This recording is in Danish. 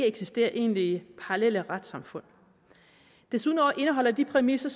eksisterer egentlige parallelle retssamfund desuden indeholder de præmisser